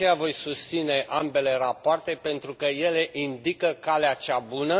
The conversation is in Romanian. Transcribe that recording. De aceea, voi susține ambele rapoarte, pentru că ele indică calea cea bună.